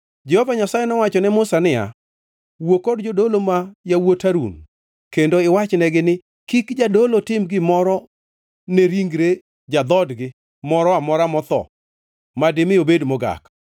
Jehova Nyasaye nowacho ne Musa niya, “Wuo kod jodolo ma yawuot Harun, kendo iwachnegi ni: ‘Kik jadolo tim gimoro ne ringre jadhodgi moro amora motho ma dimi obed mogak,